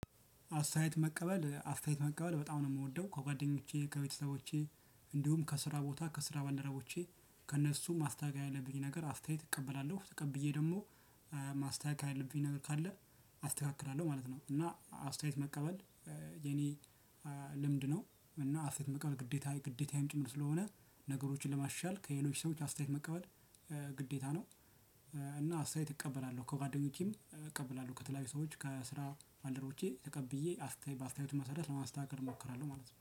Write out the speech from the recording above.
አስተያየት መቀበል አስተያየት መቀበል በጣም ነው የምወደው ከጓደኞቼ ከቤተሰቦቼ እንዲሁም ከስራ ቦታ ከስራ ባልደረቦቼ ከእነሱ ማስተካከል ያለብኝ ነገር አስተያየት እቀበላለሁ ተቀብዬ ደግሞ ማስተካከል ያለብኝ ነገር ካለ አስተካክላለሁ ማለት ነው። እና አስተያየት መቀበል የኔ ልምድ ነው። እና አስተያየት መቀበል ግዴታ ግዴታዬም ጭምር ስለሆነ ነገሮችን ለማሻሻል ከሌሎች ሰዎች አስተያየት መቀበል ግዴታ ነው። እና አስተያየት እቀበላለሁ ከጓደኞቼም እቀበላለሁ ከተለያዩ ሰዎች ከስራ ባልደረቦቼ ተቀብዬ አስተያየት በአስተያየቱ መሰረት ለማስተካከል እሞክራለሁ ማለት ነው